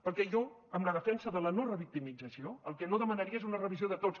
perquè jo amb la defensa de la no revictimització el que no demanaria és una revisió de tots